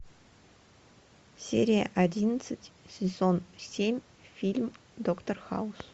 серия одиннадцать сезон семь фильм доктор хаус